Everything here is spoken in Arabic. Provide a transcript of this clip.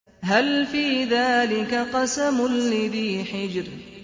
هَلْ فِي ذَٰلِكَ قَسَمٌ لِّذِي حِجْرٍ